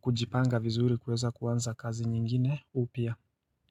kujipanga vizuri kuweza kuanza kazi nyingine upya.